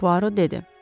Poirot dedi.